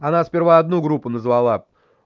она сперва одну группу назвала